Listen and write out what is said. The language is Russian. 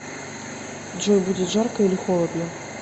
джой будет жарко или холодно